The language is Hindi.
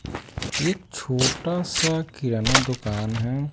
एक छोटा सा किराना दुकान है।